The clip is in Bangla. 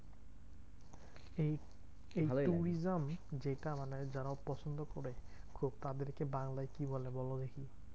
এই এই tourism যেটা মানে যারা পছন্দ করে খুব, তাদেরকে বাংলায় কি বলে বলো দেখি?